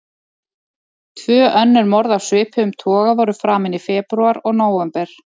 Tvö önnur morð af svipuðum toga voru framin í febrúar og nóvember.